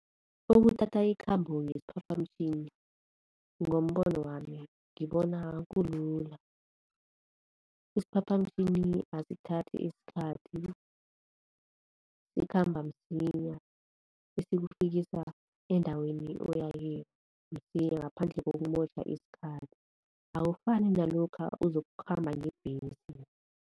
Ukuthatha ikhambo ngesiphaphamtjhini ngombono wami ngibona kulula. Isiphaphamtjhini asithathi isikhathi sikhamba msinya besikufikisa endaweni oya kiyo msinya ngaphandle kokumotjha isikhathi akufani nalokha uzokukhamba ngebhesi.